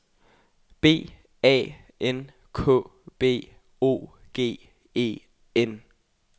B A N K B O G E N